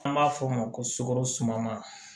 An b'a f'o ma ko sukaro suman